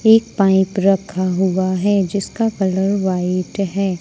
एक पाइप रखा हुआ है जिसका कलर व्हाइट है।